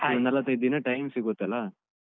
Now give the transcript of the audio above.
ಒಂದ್ ನಲ್ವತ್ತೈದ್ ದಿನ time ಸಿಗುತ್ತಲ್ಲ.